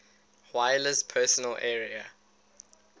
wireless personal area